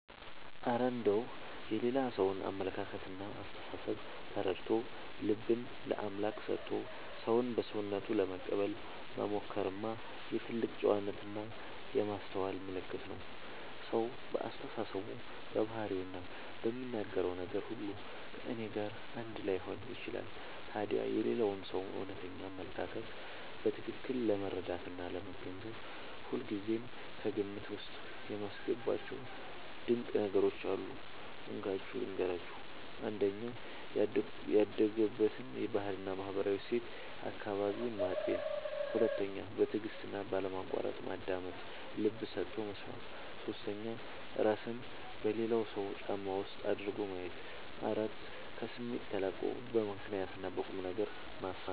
እረ እንደው የሌላ ሰውን አመለካከትና አስተሳሰብ ተረድቶ፣ ልብን ለአምላክ ሰጥቶ ሰውን በሰውነቱ ለመቀበል መሞከርማ የትልቅ ጨዋነትና የማስተዋል ምልክት ነው! ሰው በአስተሳሰቡ፣ በባህሪውና በሚናገረው ነገር ሁሉ ከእኔ ጋር አንድ ላይሆን ይችላል። ታዲያ የሌላውን ሰው እውነተኛ አመለካከት በትክክል ለመረዳትና ለመገንዘብ ሁልጊዜ ከግምት ውስጥ የማስገባቸው ድንቅ ነገሮች አሉ፤ እንካችሁ ልንገራችሁ - 1. ያደገበትን ባህልና ማህበራዊ እሴት (አካባቢውን) ማጤን 2. በትዕግስትና ባለማቋረጥ ማዳመጥ (ልብ ሰጥቶ መስማት) 3. እራስን በሌላው ሰው ጫማ ውስጥ አድርጎ ማየት 4. ከስሜት ተላቆ በምክንያትና በቁምነገር ማሰብ